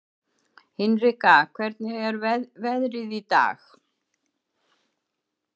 Hinrika, hvernig er veðrið í dag?